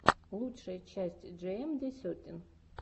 лучшая часть джиэмди сетин